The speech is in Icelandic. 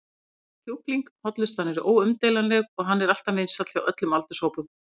allir borða kjúkling, hollustan er óumdeilanleg og hann er alltaf vinsæll hjá öllum aldurshópum.